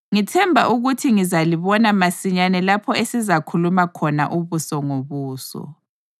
Ngithemba ukuthi ngizalibona masinyane lapho esizakhuluma khona ubuso ngobuso.